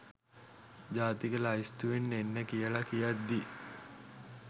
ජාතික ලැයිස්තුවෙන් එන්න කියලා කියද්දි